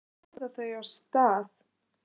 Svo æða þau af stað.